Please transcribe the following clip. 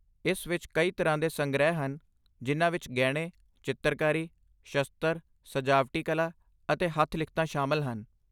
ਇਸ ਵਿੱਚ ਕਈ ਤਰ੍ਹਾਂ ਦੇ ਸੰਗ੍ਰਹਿ ਹਨ ਜਿਨ੍ਹਾਂ ਵਿੱਚ ਗਹਿਣੇ, ਚਿੱਤਰਕਾਰੀ, ਸ਼ਸਤਰ, ਸਜਾਵਟੀ ਕਲਾ ਅਤੇ ਹੱਥ ਲਿਖਤਾਂ ਸ਼ਾਮਲ ਹਨ